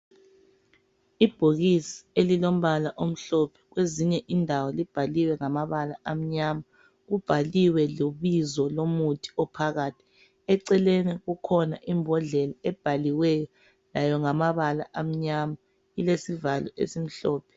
Ibhokisi elilombala omhlophe . Kwezinye indawo libhaliwe ngamabala amnyama. Libhaliwe lebizo lomuthi ophakathi. Eceleni kukhona imbodlela ebhaliweyo layo ngamabala amnyama, ilesivalo esimhlophe.